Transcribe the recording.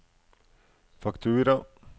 faktura